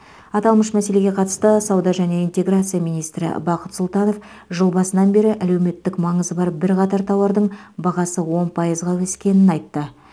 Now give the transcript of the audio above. аталмыш мәселеге қатысты сауда және интеграция министрі бақыт сұлтанов жыл басынан бері әлеуметтік маңызы бар бірқатар тауардың бағасы он пайызға өскенін айтты